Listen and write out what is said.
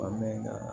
Wa mɛ nka